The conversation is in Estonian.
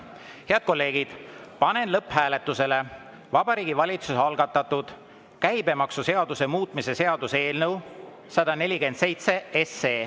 Head kolleegid, panen lõpphääletusele Vabariigi Valitsuse algatatud käibemaksuseaduse muutmise seaduse eelnõu 147.